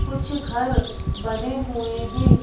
कुछ घर बने हुए हैं।